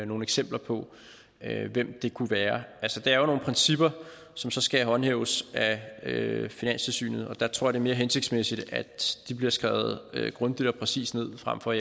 nogle eksempler på hvem det kunne være der er jo nogle principper som så skal håndhæves af finanstilsynet og der tror er mere hensigtsmæssigt at de bliver skrevet grundigt og præcist ned frem for